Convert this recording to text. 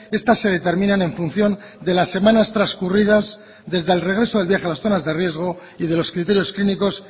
estas se determinan en función de las semanas trascurridas desde el regreso del viaje de las zonas de riesgo y de los criterios clínicos